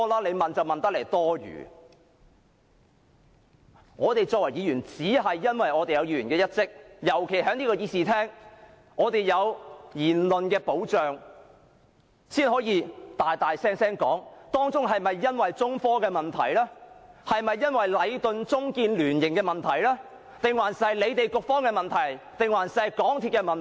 我們身為議員，應履行議員的職責，尤其在這個議事廳內，我們有言論保障，才可大聲地問：是中科的問題，還是禮頓―中建聯營的問題，又或是局方的問題或港鐵公司的問題？